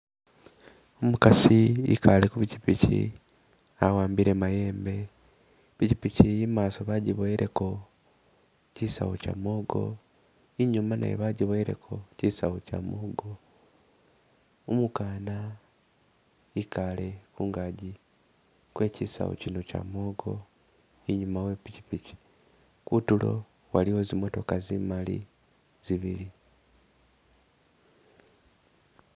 Umukasi i'kale ku pikipiki awa'ambile mayembe, i'pikipiki iyi i'maaso bajiboyeeleko chisawu chamwogo, i'nyuma nayo bajiboyeeleko chisawu chamwogo, umukana i'kale ku'ngaji kwe chisawu chino chamwogo i'nyuma we'pikipiki , kutuulo waliwo zimotooka zimali zibili